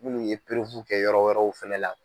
Minnuu ye kɛ yɔrɔ wɛrɛw fana la.